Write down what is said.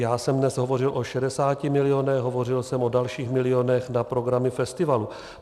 Já jsem dnes hovořil o 60 milionech, hovořil jsem o dalších milionech na programy festivalů.